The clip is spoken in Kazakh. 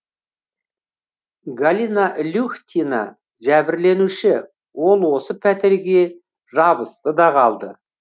галина люхтина жәбірленуші ол осы пәтерге жабысты да қалды